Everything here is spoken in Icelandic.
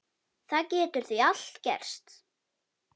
Það getur því allt gerst.